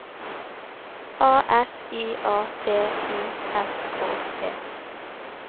A S I A T I S K E